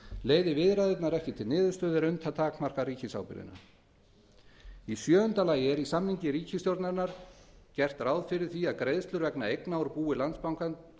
leiði viðræðurnar ekki til niðurstöðu er unnt að takmarka ríkisábyrgðina sjöundi í samningi ríkisstjórnarinnar var gert ráð fyrir því að greiðslur vegna eigna úr búi landsbankans